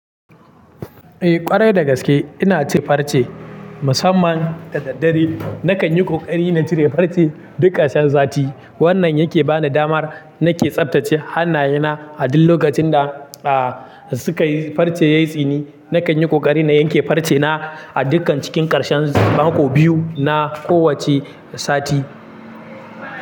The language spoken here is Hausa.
Eh ƙwarai da gaske ina cin farce musamman dadaddare nakan yi ƙoƙari na cire farce duk ƙarshen sati. Wannan yake bani damar nake tsaftace hannayena a duk lokacin da, ah, suka yi farce yayi tsini. Nakan yi ƙoƙari na yanke farce na a dukkan cikin ƙarshen mako biyu na kowacce sati.